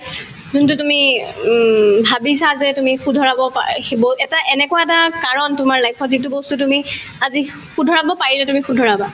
যোনতো তুমি উম ভাবিছা যে তুমি শুধৰাব পাৰা সি বহুত এটা এনেকুৱা এটা কাৰণ তোমাৰ life ত যিটো বস্তু তুমি আজি শুধৰাব পাৰিলে তুমি শুধৰাবা